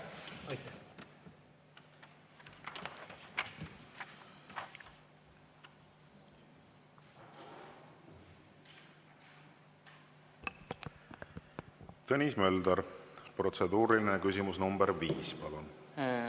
Tõnis Mölder, protseduuriline küsimus nr 5, palun!